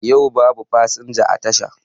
Yau babu fasinja a tasha